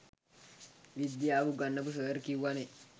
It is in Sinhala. විද්දියාව උගන්නපු සර් කිව්වනෙ.